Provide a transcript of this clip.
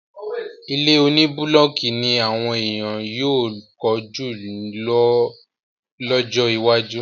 Ilé oní búlọ́kì ní àwọn èèyàn yóò kọ́ jù lọ lọ́jọ́ iwájú.